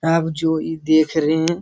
आप जो ई देख रहें हैं --